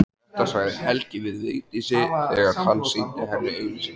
Þetta sagði Helgi við Vigdísi þegar hann sýndi henni auglýsinguna.